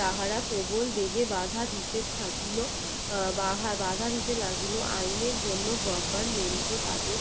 রাহারা প্রবল বেগে বাধা দিতে বাধা দিতে লাগলো আইনের জন্য তাদের